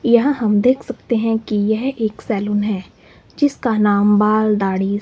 यहां हम देख सकते हैं कि यह एक सैलून है जिसका नाम बाल दाढ़ी--